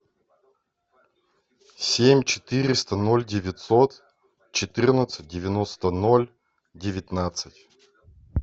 семь четыреста ноль девятьсот четырнадцать девяносто ноль девятнадцать